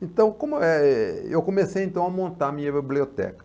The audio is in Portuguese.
Então, como é, eu comecei a montar a minha biblioteca.